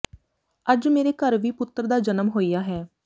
ਅੱਜ ਮੇਰੇ ਘਰ ਵੀ ਪੁੱਤਰ ਦਾ ਜਨਮ ਹੋਇਆ ਹੈ